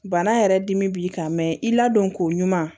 Bana yɛrɛ dimi b'i kan mɛ i ladonko ɲuman